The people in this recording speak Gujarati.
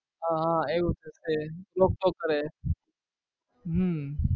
હા હા એવું છે same રોક ટોક કરે હમ